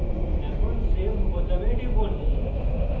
এখন save বোতামে টিপুন